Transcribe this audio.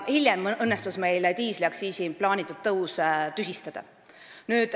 Hiljem õnnestus meil diisliaktsiisi plaanitud tõus tühistada.